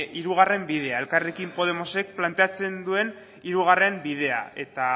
hirugarren bidea elkarrekin podemosek planteatzen duen hirugarren bidea eta